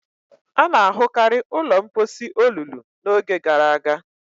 A na-ahụkarị ụlọ mposi olulu n'oge gara aga